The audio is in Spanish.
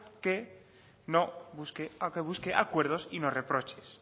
que busque acuerdos y no reproches